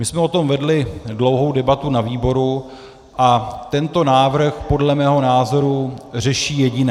My jsme o tom vedli dlouhou debatu na výboru a tento návrh podle mého názoru řeší jediné.